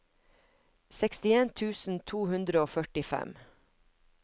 sekstien tusen to hundre og førtifem